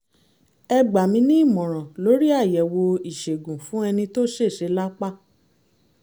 ẹ gbà mí ní ìmọ̀ràn lórí àyẹ̀wò ìṣègùn fún ẹni tó ṣèṣe lápá